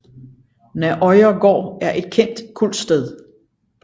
Nærøya gård er et kendt kultsted